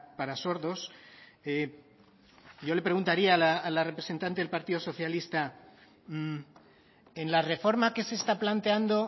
para sordos yo le preguntaría a la representante del partido socialista en la reforma que se está planteando